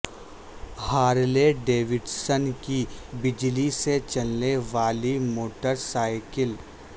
Harley Davidson کی بجلی سے چلنے والی موٹر سائیکل